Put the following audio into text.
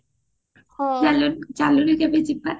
ହେଲେ ଚାଲୁନୁ କେବେ ଯିବା